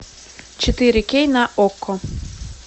четыре кей на окко